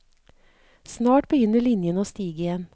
Snart begynner linjen å stige igjen.